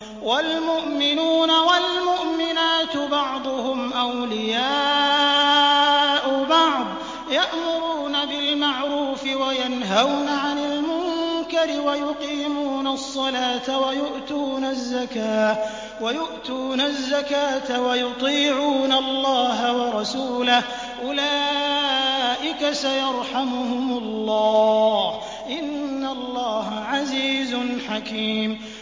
وَالْمُؤْمِنُونَ وَالْمُؤْمِنَاتُ بَعْضُهُمْ أَوْلِيَاءُ بَعْضٍ ۚ يَأْمُرُونَ بِالْمَعْرُوفِ وَيَنْهَوْنَ عَنِ الْمُنكَرِ وَيُقِيمُونَ الصَّلَاةَ وَيُؤْتُونَ الزَّكَاةَ وَيُطِيعُونَ اللَّهَ وَرَسُولَهُ ۚ أُولَٰئِكَ سَيَرْحَمُهُمُ اللَّهُ ۗ إِنَّ اللَّهَ عَزِيزٌ حَكِيمٌ